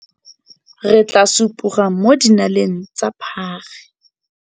Re tla supoga mo dinaleng tsa phage.